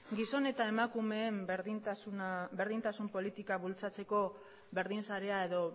gizon eta emakumeen berdintasun politika bultzatzeko berdinsarea edo